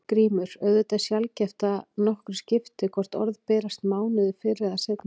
GRÍMUR: Auðvitað er sjaldgæft að nokkru skipti hvort orð berast mánuði fyrr eða seinna.